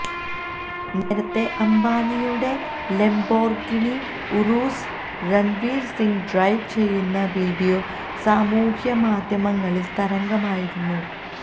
നേരത്തെ അംബാനിയുടെ Lamborghini Urus Ranveer Singh drive ചെയ്യുന്ന വീഡിയോ സാമൂഹ്യ മാധ്യമങ്ങളിൽ തരംഗമായിരുന്നു